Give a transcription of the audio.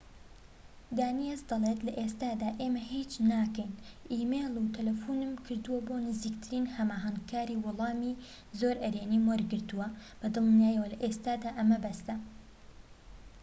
دانیەس دەڵێت لە ئێستادا ئێمە هیچ ناکەین ئیمەیل و تەلەفونم کردووە بۆ نزیکترین هەماهەنگکاری و وەڵامی زۆر ئەرێنیم وەرگرتووە بە دڵنیاییەوە لە ئێستادا ئەمە بەسە